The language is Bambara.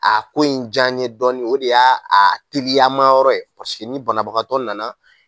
A ko in diya n ye dɔɔnin o de y'a teriyama yɔrɔ ye ni banabagatɔ nana